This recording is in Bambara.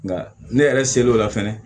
Nka ne yɛrɛ ser'o la fɛnɛ